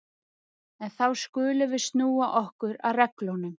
En þá skulum við snúa okkur að reglunum.